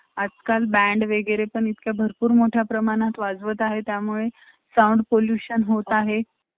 आजकाल Band वगैरे पण इतके भरपूर मोठ्या प्रमाणात वाजवत आहे. त्यामुळे sound pollution होत आहे.